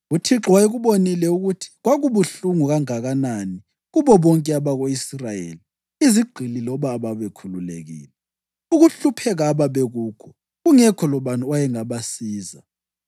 UThixo wayekubonile ukuthi kwakubuhlungu kanganani kubo bonke abako-Israyeli, izigqili loba ababekhululekile, ukuhlupheka ababekukho; kungekho labani owayengabasiza.